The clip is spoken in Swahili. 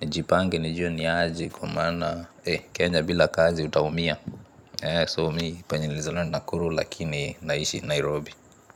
Nijipange, nijue niaje kwa maana, eh kenya bila kazi utaumia so mii penye nilizaliwa ni nakuru lakini naishi nairobi.